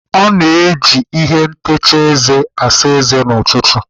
A na-eji ihe ntacha eze asa eze n'ụtụtụ.